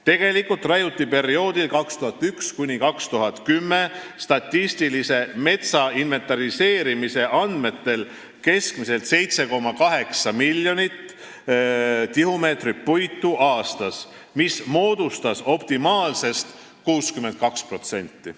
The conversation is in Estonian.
Tegelikult raiuti perioodil 2001–2010 statistilise metsainventariseerimise andmetel keskmiselt 7,8 miljonit tihumeetrit puitu aastas, mis moodustas optimaalsest mahust 62%.